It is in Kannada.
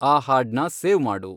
ಆ ಹಾಡ್ನ ಸೇವ್ ಮಾಡು